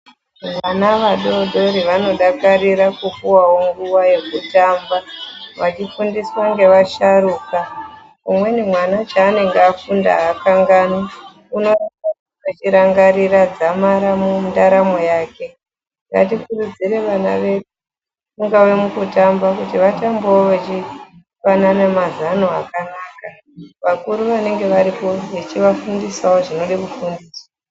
Vana vadodori vanodakarira kupuwawo nguva yekutamba vachifundiswa ngevasharukwa. Umweni mwana chanenge afunda hakanganwi unonge echirangarira dzamara mundaramo yake ngatikurudzire vana vedu kungave mukutamba kuti vatambewo vechipanana mazano akanaka. Vakuru vanenge varipo vechiva fundisawo zvinode kufundiswa.